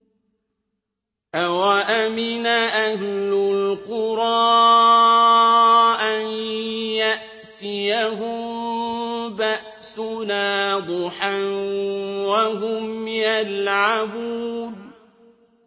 أَوَأَمِنَ أَهْلُ الْقُرَىٰ أَن يَأْتِيَهُم بَأْسُنَا ضُحًى وَهُمْ يَلْعَبُونَ